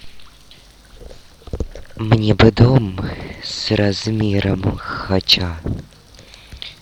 мне бы дом с размером хача